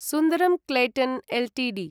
सुन्दरं Clayton Ltd